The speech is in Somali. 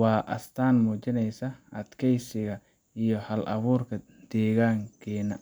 Waa astaan muujinaysa adkaysiga iyo hal abuurka dadkeenna.